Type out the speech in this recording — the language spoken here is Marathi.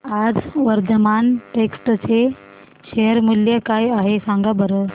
आज वर्धमान टेक्स्ट चे शेअर मूल्य काय आहे सांगा बरं